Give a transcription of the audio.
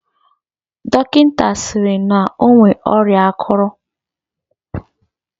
Dọkịnta sịrị na o nwere ọrịa akụrụ.